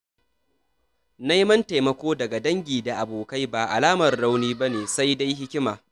Neman taimako daga dangi da abokai ba alamar rauni ba ne, sai dai hikima.